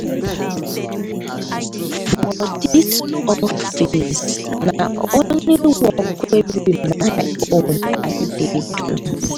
for dis office na only work wey be my wey be my own i dey do.